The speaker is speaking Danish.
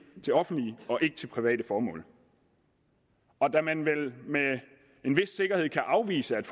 til offentlige og ikke til private formål og da man vel med en vis sikkerhed kan afvise at